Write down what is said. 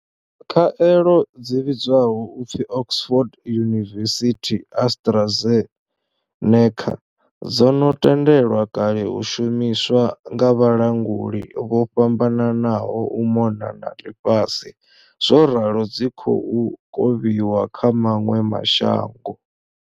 Khaelo dzi vhidzwaho u pfi Oxford University-AstraZe neca dzo no tendelwa kale u shumiswa nga vhalanguli vho fhambananaho u mona na ḽifhasi zworalo dzi khou kovhiwa kha maṅwe ma shango.